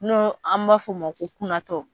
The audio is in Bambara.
N'o an b'a f'o ma ko kunatɔ